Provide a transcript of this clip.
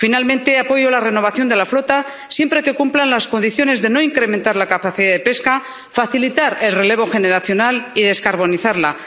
Finalmente, apoyo la renovación de la flota siempre que se cumplan las condiciones de no incrementar la capacidad de pesca, facilitar el relevo generacional y descarbonizarla.